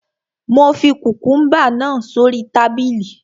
Mo fi kùkùúmbà náà sórí tábìlì